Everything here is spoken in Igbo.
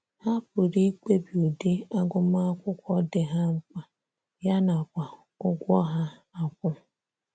Ha pụrụ ikpebi ụdị agụmakwụkwọ dị ha mkpa, ya nakwa ụgwọ ha akwu.